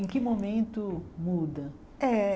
Em que momento muda? Eh